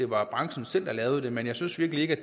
branchen selv lavede den men jeg synes virkelig ikke